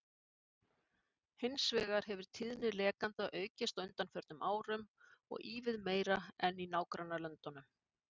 Hins vegar hefur tíðni lekanda aukist á undanförnum árum og ívið meira en í nágrannalöndunum.